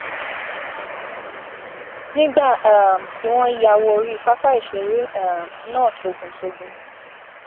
nígbà um tí wọn ya wọ orí pápá ìṣeré um náà tòguntògún